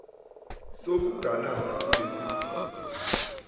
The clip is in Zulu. sokuganana kulesi simo